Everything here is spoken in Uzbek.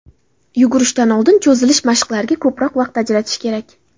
Yugurishdan oldin cho‘zilish mashqlariga ko‘proq vaqt ajratish kerak.